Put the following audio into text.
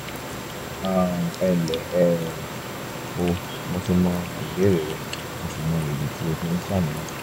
um ẹnlẹ́ um o mo ti wo ìbéèrè rẹ mo sì mọ ìdí tí o fi ń ṣàníyàn